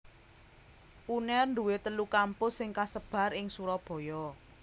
Unair duwé telu kampus sing kasebar ing Surabaya